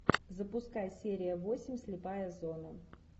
запускай серия восемь слепая зона